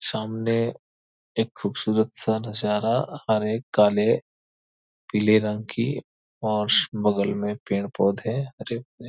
सामने एक खूबसूरत सा नजारा हरे काले पीले रंग की बगल में पेड़ पौधे।